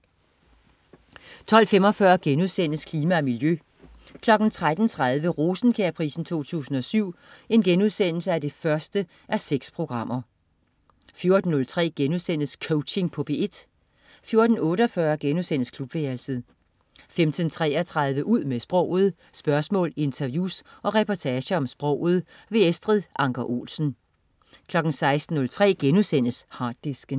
12.45 Klima og miljø* 13.30 Rosenkjærprisen 2007 1:6* 14.03 Coaching på P1* 14.48 Klubværelset* 15.33 Ud med sproget. Spørgsmål, interviews og reportager om sproget. Estrid Anker Olsen 16.03 Harddisken*